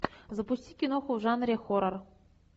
запусти киноху в жанре хоррор